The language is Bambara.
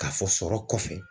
K'a fɔ sɔrɔ kɔfɛ